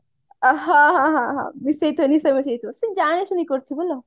ଅ ହଁ ହଁ ହଁ ହଁ ମିସେଇଥିବ ନିଶା ମିଶେଇ thiba ସେ ଜାଣିଶୁଣି କରୁଥିବ ହେଲା